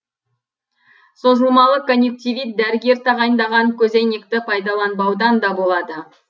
созылмалы конъюктивит дәрігер тағайындаған көзәйнекті пайдаланбаудан да болады